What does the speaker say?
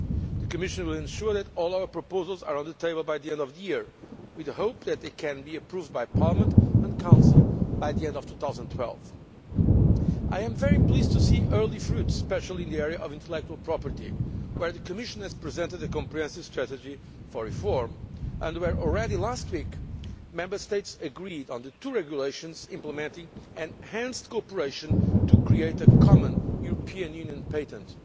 The Commission will ensure that all our proposals are on the table by the end of the year with the hope that they can be approved by Parliament and Council by the end of 2012. I am very pleased to see early fruit, especially in the area of intellectual property, where the Commission has presented a comprehensive strategy for reform and where already last week Member States agreed on the two regulations implementing enhanced cooperation to create a common European Union patent.